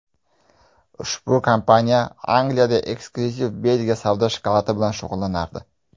Ushbu kompaniya Angliyada eksklyuziv Belgiya shokoladi savdosi bilan shug‘ullanardi.